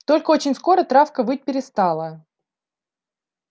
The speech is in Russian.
только очень скоро травка выть перестала